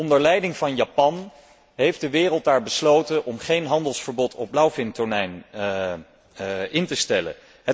Onder leiding van Japan heeft de wereld daar besloten om geen handelsverbod op blauwvintonijn in te stellen.